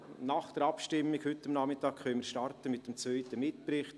Nach der Abstimmung heute Nachmittag starten mit dem zweiten Mitbericht.